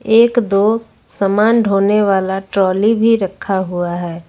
एक दो समान ढोने वाला ट्रॉली भी रखा हुआ है।